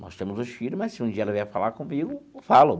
Nós temos os filhos, mas se um dia ela vier falar comigo, falo.